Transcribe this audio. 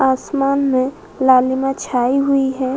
आसमान में लालिमा छाई हुई है।